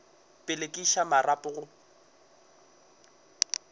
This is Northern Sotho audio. pele ke iša marapo go